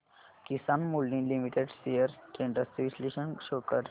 किसान moulding limited shares trends चे विश्लेषण show कर